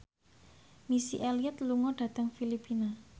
Missy Elliott lunga dhateng Filipina